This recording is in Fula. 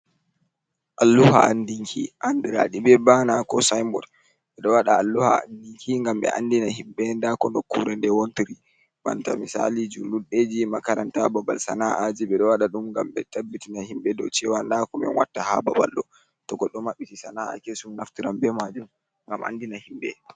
Alluha andinki andira ɗi be bana ko sinbot, ɓe ɗo waɗa alluha andinki ngam ɓe andina himɓɓe nda ko nokkure nde wontiri banta misali julurɗe ji, makaranta, babal sana'aji ɓe ɗo waɗa ɗum ngam ɓe tabbitina himɓɓe dow cewa nda ko min watta ha babal ɗo. To goɗɗo maɓɓiti sana'a kessum naftiran be majun ngam andina himɓɓe.